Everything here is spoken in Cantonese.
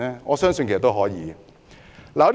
我相信是可以的。